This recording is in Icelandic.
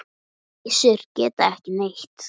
Kisur gera ekki neitt.